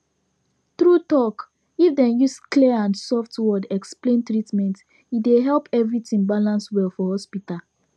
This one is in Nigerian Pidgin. true talk if dem use clear and soft word explain treatment e dey help everything balance well for hospital